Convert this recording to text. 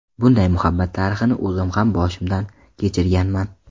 Bunday muhabbat tarixini o‘zim ham boshimdan kechirganman.